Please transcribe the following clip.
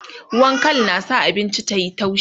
ruwan Kal na sa abinci yayi taushi